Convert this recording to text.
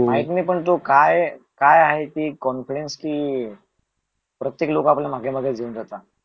माहिती नाही पण तो काय आहे ते कॉन्फिडन्स कि प्रत्येक लोक आपल्याला मागे मागे च घेऊन जातात